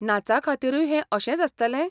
नाचाखातीरूय हें अशेंच आसतलें?